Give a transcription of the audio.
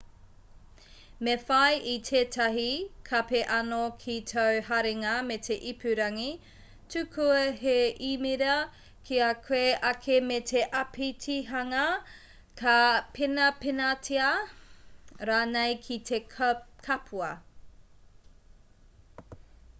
me whai i tētahi kape anō ki tāu haringa me te ipurangi tukua he īmera ki a koe ake me te āpitihanga ka penapenatia rānei ki te kapua